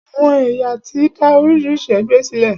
Àwọn èyàn ti dá oríṣiríṣi ẹgbẹ sílẹ̀.